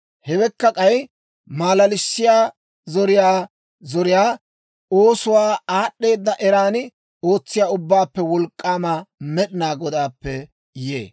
Hawekka k'ay malalissiyaa zoriyaa zoriyaa, oosuwaakka aad'd'eeda eran ootsiyaa Ubbaappe Wolk'k'aama Med'inaa Godaappe yee.